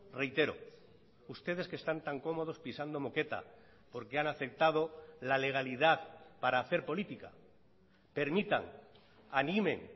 reitero ustedes que están tan cómodos pisando moqueta porque han aceptado la legalidad para hacer política permitan animen